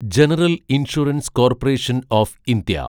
general insurance corporation of India